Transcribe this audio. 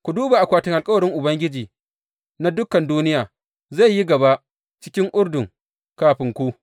Ku duba, akwatin alkawarin Ubangiji na dukan duniya zai yi gaba cikin Urdun kafin ku.